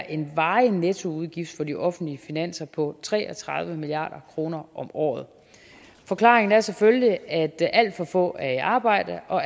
en varig nettoudgift for de offentlige finanser på tre og tredive milliard kroner om året forklaringen er selvfølgelig at alt for få er i arbejde og